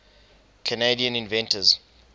canadian inventors